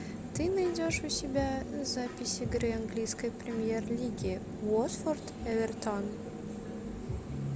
ты найдешь у себя запись игры английской премьер лиги уотфорд эвертон